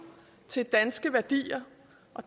til danske værdier